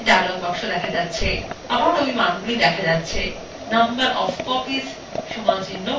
আবার এই মানগুলি লেখা যাকnumber অফ copies = ১০